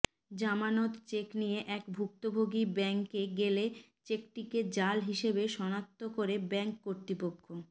জামানত চেক নিয়ে এক ভুক্তভোগী ব্যাংকে গেলে চেকটিকে জাল হিসেবে সনাক্ত করে ব্যাংক কর্তৃপক্ষ